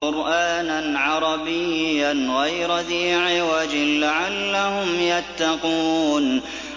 قُرْآنًا عَرَبِيًّا غَيْرَ ذِي عِوَجٍ لَّعَلَّهُمْ يَتَّقُونَ